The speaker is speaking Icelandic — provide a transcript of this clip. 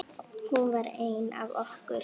Hún var ein af okkur.